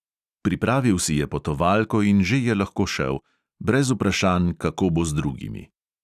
Pripravil si je potovalko in že je lahko šel, brez vprašanj, kako bo z drugimi.